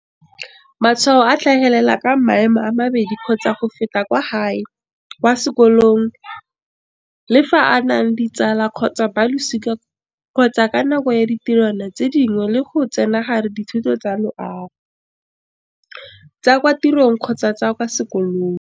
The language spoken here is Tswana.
"Matshwao a tlhagelela ka maemo a mabedi kgotsa go feta kwa gae, kwa sekolong, le fa a na le ditsala kgotsa balosika kgotsa ka nako ya ditirwana tse dingwe le go tsenagare ditiro tsa loago, tsa kwa tirong kgotsa tsa kwa sekolong."